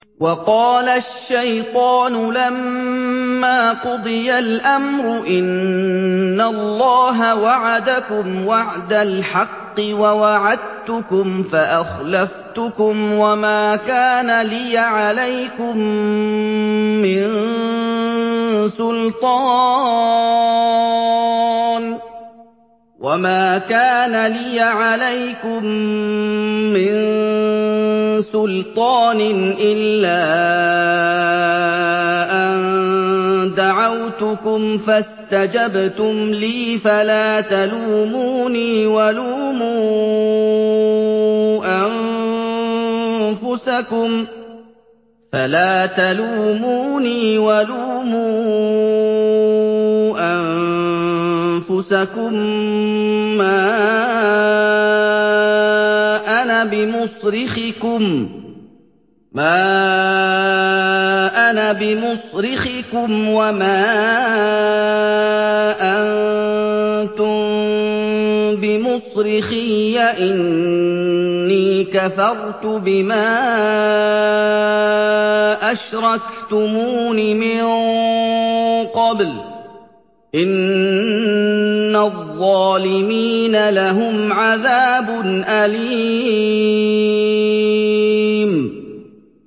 وَقَالَ الشَّيْطَانُ لَمَّا قُضِيَ الْأَمْرُ إِنَّ اللَّهَ وَعَدَكُمْ وَعْدَ الْحَقِّ وَوَعَدتُّكُمْ فَأَخْلَفْتُكُمْ ۖ وَمَا كَانَ لِيَ عَلَيْكُم مِّن سُلْطَانٍ إِلَّا أَن دَعَوْتُكُمْ فَاسْتَجَبْتُمْ لِي ۖ فَلَا تَلُومُونِي وَلُومُوا أَنفُسَكُم ۖ مَّا أَنَا بِمُصْرِخِكُمْ وَمَا أَنتُم بِمُصْرِخِيَّ ۖ إِنِّي كَفَرْتُ بِمَا أَشْرَكْتُمُونِ مِن قَبْلُ ۗ إِنَّ الظَّالِمِينَ لَهُمْ عَذَابٌ أَلِيمٌ